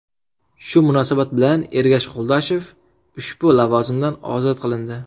Shu munosabat bilan Ergash Qo‘ldoshev ushbu lavozimdan ozod qilindi.